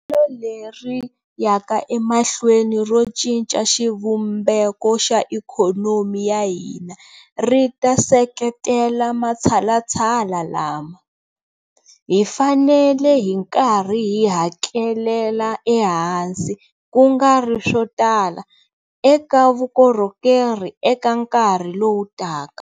Leri yaka emahlweni ro cinca xivumbeko xa ikhonomi ya hina ri ta seketela matshalatshala lama. Hi fanele hi nkarhi hi hakelela ehansi, ku nga ri swo tala, eka vukorhokeri eka nkarhi lowu taka.